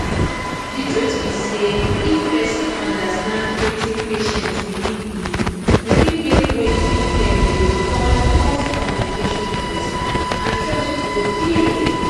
the truth be say if persin understand weting patient believe in e fit make weting dem dey call pause communication better and trust go dey